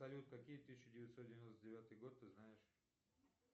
салют какие тысяча девятьсот девяносто девятый год ты знаешь